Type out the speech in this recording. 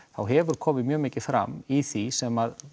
þá hefur komið mjög mikið fram í því sem